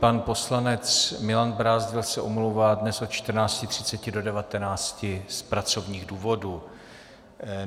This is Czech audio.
Pan poslanec Milan Brázdil se omlouvá dnes od 14.30 do 19.00 z pracovních důvodů.